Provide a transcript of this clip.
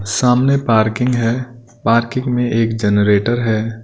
सामने पार्किंग है पार्किंग में एक जनरेटर हैं।